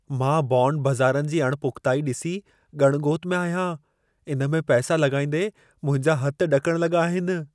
मां बॉन्ड बज़ारनि जी अण पुख़्ताईअ ॾिसी ॻण ॻोत में आहियां। इन में पैसा लॻाईंदे मुंहिंजा हथ ॾकण लॻा आहिनि।